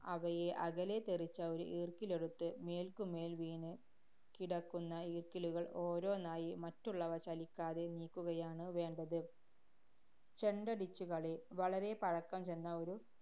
അവയെ അകലെ തെറിച്ച ഒരു ഈര്‍ക്കിലെടുത്ത്, മേല്‍ക്കുമേല്‍ വീണ് കിടക്കുന്ന ഈക്കിലുകള്‍ ഓരോന്നായി മറ്റുള്ളവ ചലിക്കാതെ നീക്കുകയാണ് വേണ്ടത് ചെണ്ടടിച്ചുകളി. വളരെ പഴക്കംചെന്ന ഒരു